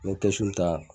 N bɛ ta